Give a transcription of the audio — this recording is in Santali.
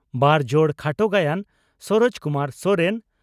ᱵᱟᱨ ᱡᱚᱲ ᱠᱷᱟᱴᱚ ᱜᱟᱭᱟᱱ (ᱥᱚᱨᱚᱡᱽ ᱠᱩᱢᱟᱨ ᱥᱚᱨᱮᱱ)